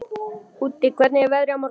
Úddi, hvernig er veðrið á morgun?